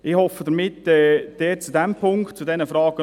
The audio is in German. Ich hoffe, zu diesen Fragen noch etwas Ausführungen gemacht zu haben.